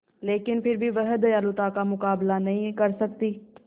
लेकिन फिर भी वह दयालुता का मुकाबला नहीं कर सकती